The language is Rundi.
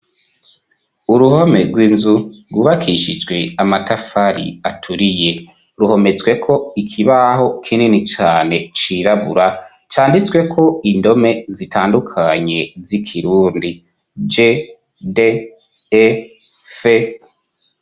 Uruhome rw'inzu rwubakishijwe amatafari aturiye, ruhometsweko ikibaho kinini cane cirabura, canditsweko indome zitandukanye z'ikirundi:g,d,e,f.